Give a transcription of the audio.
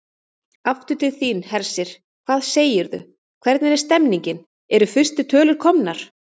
Aftur til þín, Hersir, hvað segirðu, hvernig er stemningin, eru fyrstu tölur komnar?